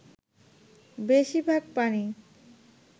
বেশির ভাগ প্রাণী